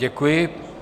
Děkuji.